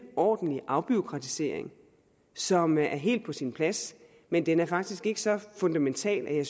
ordentlig afbureaukratisering som er helt på sin plads men den er faktisk ikke så fundamental at